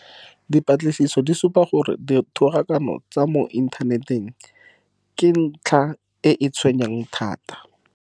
Dipatlisiso di supa gore dithogakano tsa mo inthaneteng ke ntlha e e tshwenyang thata.